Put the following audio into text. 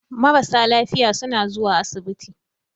Marasa lafiya suna zuwa asibiti.